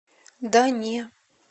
да не